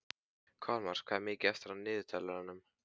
Kolmar, hvað er mikið eftir af niðurteljaranum?